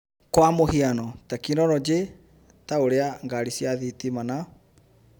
Kwa mũhiano, tekinoronjĩ ta ũrĩa ngarĩ cia thitima na